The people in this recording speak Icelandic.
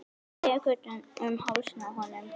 Tek utan um hálsinn á honum.